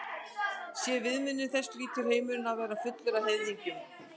Sé viðmiðunin þessi hlýtur heimurinn að vera fullur af heiðingjum.